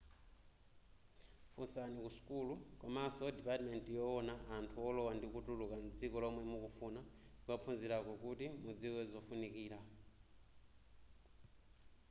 funsani ku sukulu komanso dipatimenti yowona anthu olowa ndi kutuluka mdziko lomwe mukufuna kukaphunzirako kuti mudziwe zofunikira